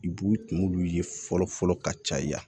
I b'u tun ye fɔlɔ fɔlɔ ka caya